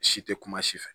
Si tɛ kuma si fɛ